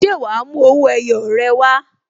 Ṣé wa mú owó ẹyọ rẹ wá?